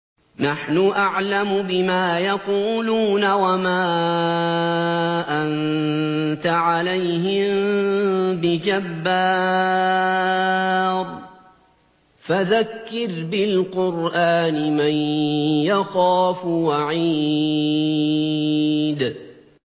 نَّحْنُ أَعْلَمُ بِمَا يَقُولُونَ ۖ وَمَا أَنتَ عَلَيْهِم بِجَبَّارٍ ۖ فَذَكِّرْ بِالْقُرْآنِ مَن يَخَافُ وَعِيدِ